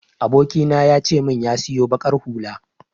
Abokina ya ce min ya siyo baƙar hula.